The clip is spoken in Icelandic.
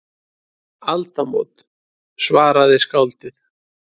Aldamót, svaraði skáldið.